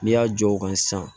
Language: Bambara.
N'i y'a jɔ o kan sisan